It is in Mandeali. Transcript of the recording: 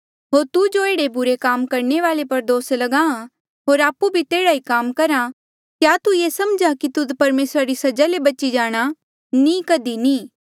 होर तू जो एह्ड़े बुरे काम करणे वाले पर दोस ल्गाहां होर आपु भी तेह्ड़ा ई काम करहा क्या तू ये समझ्हा कि तुध परमेसरा री सजा ले बची जाणा नी कधी नी